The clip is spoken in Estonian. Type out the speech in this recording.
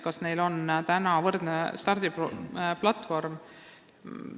Kas neil noortel on täna võrdne stardiplatvorm?